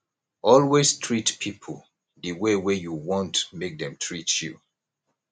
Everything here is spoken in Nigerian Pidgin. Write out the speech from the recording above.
always treat pipo di way wey you want make dem treat you